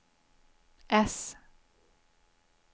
S